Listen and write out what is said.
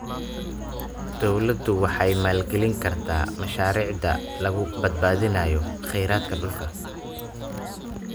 Dawladdu waxay maalgelin kartaa mashaariicda lagu badbaadinayo khayraadka dhulka.